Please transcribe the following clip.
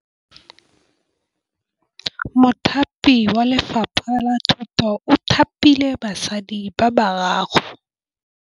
Mothapi wa Lefapha la Thutô o thapile basadi ba ba raro.